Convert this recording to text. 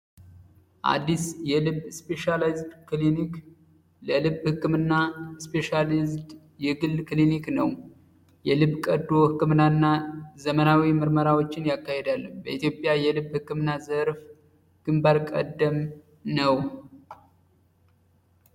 አዲስ የልብ ስፔሻላይዝ ክሊኒክ ለልብ ሕክምና ስፔሽሊዝ የግል ክሊኒክ ነው የልብ ቀዶ ሕክምናእና ዘመናዊ ምርመራዎችን ያካሄዳል በኢትዮጵያ የልብ ሕክምና ዘርፍ ግንበር ቀደም ነው፡፡